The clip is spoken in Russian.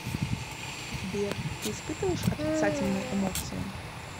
сбер ты испытываешь отрицательные эмоции